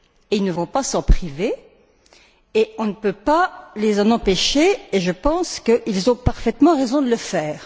Ils ne vont pas s'en priver et on ne peut pas les en empêcher, et je pense qu'ils ont parfaitement raison de le faire.